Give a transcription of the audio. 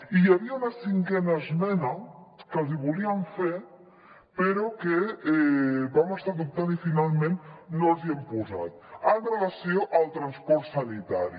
i hi havia una cinquena esmena que els hi volíem fer però vam estar dubtant i finalment no els hi hem posat amb relació al transport sanitari